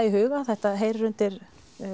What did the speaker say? í huga þetta heyrir undir